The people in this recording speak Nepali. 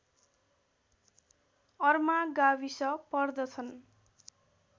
अर्मा गाविस पर्दछन्